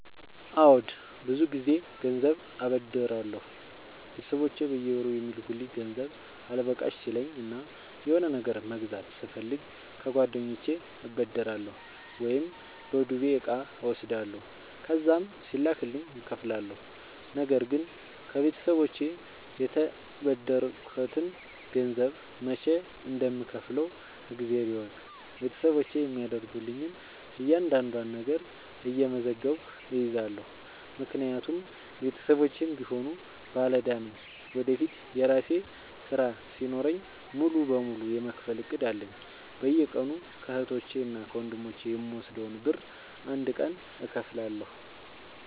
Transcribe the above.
አዎድ ብዙ ግዜ ገንዘብ አበደራለሁ ቤተሰቦቼ በየወሩ የሚልኩልኝ ገንዘብ አልበቃሽ ሲለኝ እና የሆነ ነገር መግዛት ስፈልግ ከጓደኞቼ እበደራለሁ። ወይም በዱቤ እቃ እወስዳለሁ ከዛም ሲላክልኝ እከፍላለሁ። ነገርግን ከቤተሰቦቼ የተበደርከትን ገንዘብ መች እንደም ከውፍለው እግዜር ይወቅ ቤተሰቦቼ የሚያደርጉልኝን እያንዳዷን ነገር እየመዘገብኩ እይዛለሁ። ምክንያቱም ቤተሰቦቼም ቢሆኑ ባለዳ ነኝ ወደፊት የራሴ ስራ ሲኖረኝ ሙሉ በሙሉ የመክፈል እቅድ አለኝ። በየቀኑ ከህቶቼ እና ከወንድሞቼ የምወስደውን ብር አንድ ቀን እከፍላለሁ።